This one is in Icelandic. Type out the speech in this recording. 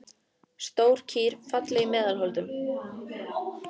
Stór kýr, falleg í meðal holdum.